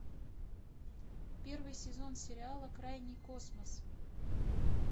первый сезон сериала крайний космос